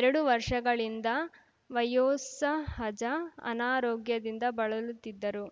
ಎರಡು ವರ್ಷಗಳಿಂದ ವಯೋಸಹಜ ಅನಾರೋಗ್ಯದಿಂದ ಬಳಲುತ್ತಿದ್ದರು